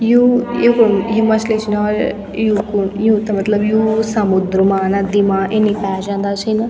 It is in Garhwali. यू युखुम यु मछली छिन हौर यूकू यु थे मतलब यू समुद्र मा नदी मा इन्नी पाया जांदा छिन।